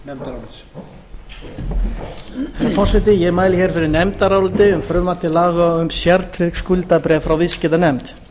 herra forseti ég mæli hér fyrir nefndaráliti um frumvarp til ganga um sértryggð skuldabréf frá viðskiptanefnd